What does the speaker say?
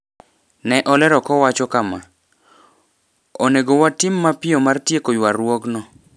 Ne olero kowacho kama: "Onego watim mapiyo mar tieko ywarruokno